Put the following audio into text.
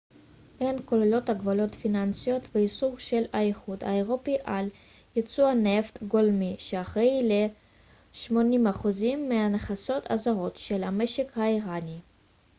הן כוללות הגבלות פיננסיות ואיסור של האיחוד האירופי על ייצוא נפט גולמי שאחראי ל-80% מהכנסות הזרות של המשק האיראני